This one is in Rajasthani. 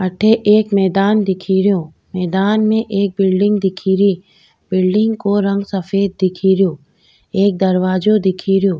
अठे एक मैदान दिखरियो मैदान में एक बिल्डिंग दिखेरी बिल्डिंग को रंग सफ़ेद दिखरियो एक दरवाजो दिख रियो।